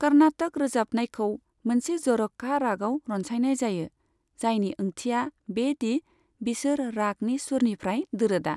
कर्नाटक रोजाबनायखौ मोनसे जर'खा रागआव रनसायनाय जायो, जायनि ओंथिआ बे दि बिसोर रागनि सुरनिफ्राय दोरोदआ।